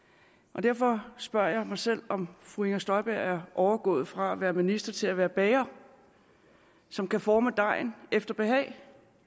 og derfor spørger jeg mig selv om fru inger støjberg er overgået fra at være minister til at være bager som kan forme dejen efter behag